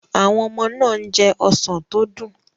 Àwọn ọmọ náà ń jẹ ọsàn tó dùn.